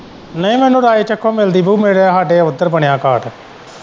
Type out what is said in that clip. ਨਹੀਂ ਮੈਨੂੰ ਰਾਏਚੱਕੋਂ ਤੋਂ ਮਿਲਦੀ ਪਈ ਹੈ ਮੇਰੇ ਸਾਡਾ ਉੱਧਰ ਬਣਿਆ ਕਾਰਡ।